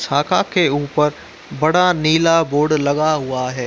छाका के ऊपर बड़ा नीला बोर्ड लगा हुआ है।